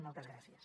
moltes gràcies